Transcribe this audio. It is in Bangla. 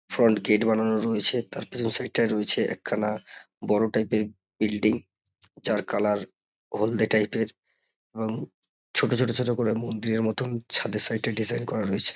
ফ্রন্ট গেট বানানো রয়েছে তার পেছনের সাইড টায় রয়েছে একখানা বড় টাইপ -এর বিল্ডিং । যার কালার হলদে টাইপ -এর এবং ছোট ছোট ছোট করে মন্দিরের মতন ছাদের সাইড -এ ডিজাইন করা রয়েছে।